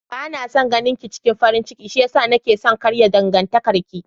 Bana son ganinki cikin farin ciki shiyasa nake son karya dangantakar ki.